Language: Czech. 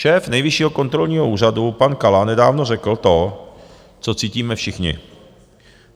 Šéf Nejvyššího kontrolního úřadu pan Kala nedávno řekl to, co cítíme všichni.